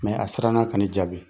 a siranna ka ne jaabi.